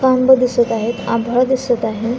पडदे दिसत आहेत चेअर दिसत आहेत खूप सारे लोक दिसत आहेत.